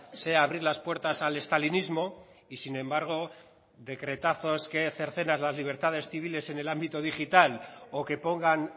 sea abrir las puertas al estalinismo y sin embargo decretazos que cercenan las libertades civiles en el ámbito digital o que pongan